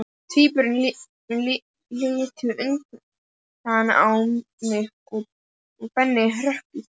Tvíburarnir litu undrandi á mig og Benni hrökk í kút.